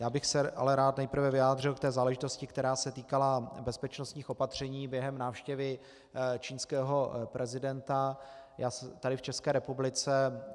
Já bych se ale rád nejprve vyjádřil k té záležitosti, která se týkala bezpečnostních opatření během návštěvy čínského prezidenta tady v České republice.